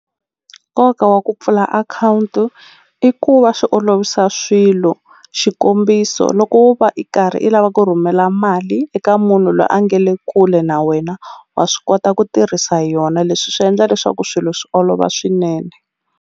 Nkoka wa ku pfula akhawunti i ku va swi olovisa swilo xikombiso loko wo va i karhi i lava ku rhumela mali eka munhu lwa a nga le kule na wena wa swi kota ku tirhisa yona leswi swi endla leswaku swilo swi olova swinene.